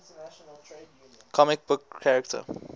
comic book character